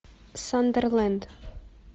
сандерленд